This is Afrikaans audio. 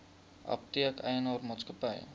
apteek eienaar maatskappy